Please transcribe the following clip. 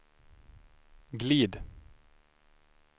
glid